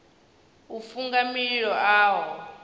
u funga mililo a ho